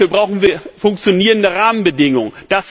Dafür brauchen wir funktionierende Rahmenbedingungen.